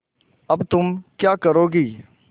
अब तुम क्या करोगी